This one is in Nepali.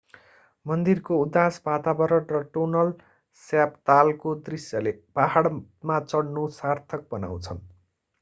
मन्दिरको उदास वातावरण र टोनल स्याप तालको दृश्यले पहाडमा चढ्नु सार्थक बनाउँछन्